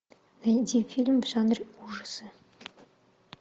найди фильм в жанре ужасы